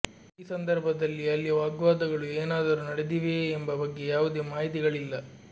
ಈ ಸಂದರ್ಭದಲ್ಲಿ ಅಲ್ಲಿ ವಾಗ್ವಾದಗಳು ಏನಾದರೂ ನಡೆದಿವೆಯೇ ಎಂಬ ಬಗ್ಗೆ ಯಾವುದೇ ಮಾಹಿತಿಗಳಿಲ್ಲ